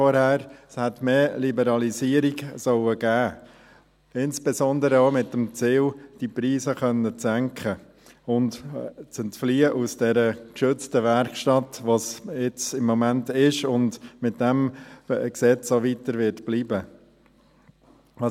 Es hätte mehr Liberalisierung geben sollen, insbesondere auch mit dem Ziel, die Preise senken zu können und aus dieser geschützten Werkstatt zu entfliehen, die es im Moment ist und mit diesem Gesetz auch weiter bleiben wird.